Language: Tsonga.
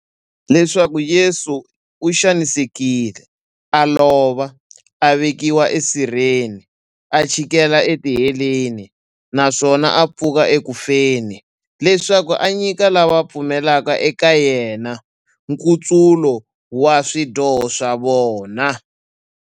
Leswaku Yesu u xanisekile, a lova, a vekiwa e sirheni, a chikela e tiheleni, naswona a pfuka eku feni, leswaku a nyika lava va pfumelaka eka yena, nkutsulo wa swidyoho swa vona.